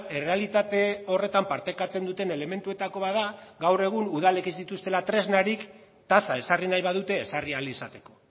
errealitate horretan partekatzen duten elementuetako bat da gaur egun udalek ez dituztela tresnarik tasa ezarri nahi badute ezarri ahal izateko